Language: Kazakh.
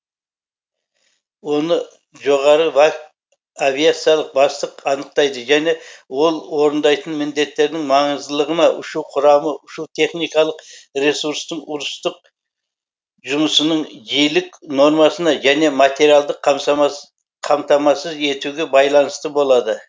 оны жоғары авиациялық бастық анықтайды және ол орындайтын міндеттердің маңыздылығына ұшу құрамы ұшу техникалық ресурстың ұрыстық жұмысының жиілік нормасына және материалдық қамтамасыз етуге байланысты болады